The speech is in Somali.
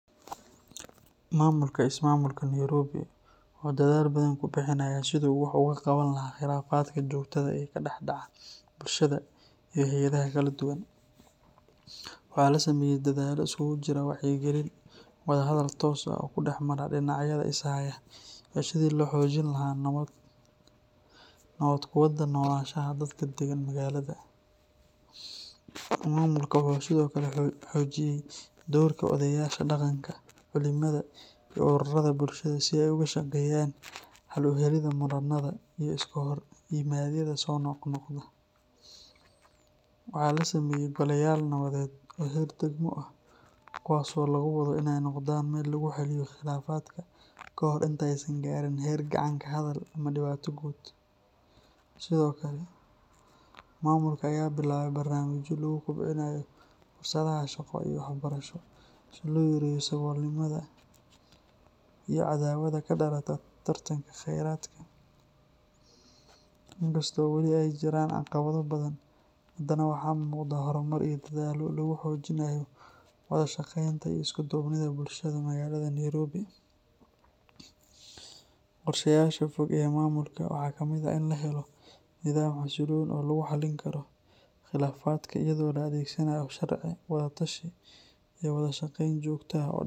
Maamulka ismaamulka Nairobi wuxuu dadaal badan ku bixinayaa sidii uu wax uga qaban lahaa khilaafaadka joogtada ah ee ka dhex dhaca bulshada iyo hay’adaha kala duwan. Waxaa la sameeyay dadaallo isugu jira wacyigelin, wadahadal toos ah oo dhexmara dhinacyada is haya, iyo sidii loo xoojin lahaa nabad ku wada noolaanshaha dadka deggan magaalada. Maamulka wuxuu sidoo kale xoojiyay doorka odayaasha dhaqanka, culimada, iyo ururada bulshada si ay uga shaqeeyaan xal u helidda muranada iyo iska horimaadyada soo noqnoqda. Waxaa la sameeyay goleyaal nabadeed oo heer degmo ah kuwaasoo lagu wado inay noqdaan meel lagu xalliyo khilaafaadka kahor intaysan gaadhin heer gacan ka hadal ama dhibaato guud. Sidoo kale, maamulka ayaa bilaabay barnaamijyo lagu kobcinayo fursadaha shaqo iyo waxbarasho si loo yareeyo saboolnimada iyo cadaawada ka dhalata tartanka kheyraadka. In kasta oo weli ay jiraan caqabado badan, haddana waxaa muuqda horumar iyo dadaallo lagu xoojinayo wada shaqeynta iyo isku duubnida bulshada magaalada Nairobi. Qorshayaasha fog ee maamulka waxaa ka mid ah in la helo nidaam xasiloon oo lagu xallin karo khilaafaadka iyadoo la adeegsanayo sharci, wada tashi iyo wada shaqeyn joogto ah oo.